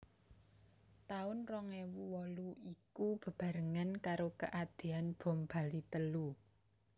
Taun rong ewu wolu iku bebarengan karo keadean bom Bali telu